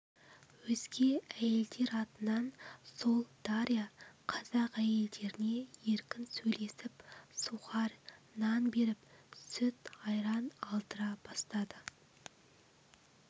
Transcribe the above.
өзге әйелдер атынан сол дарья қазақ әйелдеріне еркін сөйлесіп сухарь-нан беріп сүт-айран алдыра бастады